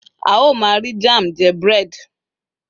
a o ma ri jam je bread